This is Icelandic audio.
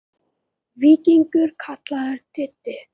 Víkingur kallaður Diddi.